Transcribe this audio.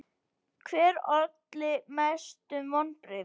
Hver olli mestum vonbrigðum?